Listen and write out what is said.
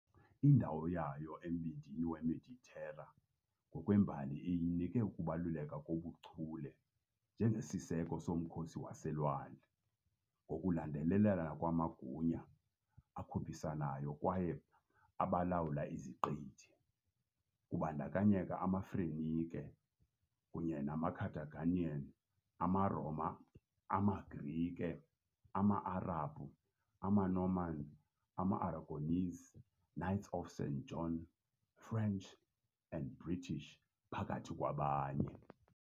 Indawo yayo embindini weMeditera ngokwembali iyinike ukubaluleka kobuchule njengesiseko somkhosi waselwandle, ngokulandelelana kwamagunya akhuphisanayo kwaye abalawula iziqithi, kubandakanya amaFenike kunye namaCarthaginians, amaRoma, amaGrike, ama-Arabhu, amaNorman, amaAragonese., Knights of St. John, French, and British, phakathi kwabanye.